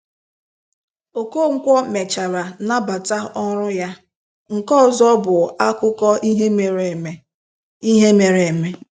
Okonkwo mechara nabata ọrụ ya, nke ọzọ bụ akụkọ ihe mere eme. ihe mere eme.